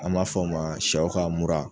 An m'a fɔ o ma sɛw ka mura.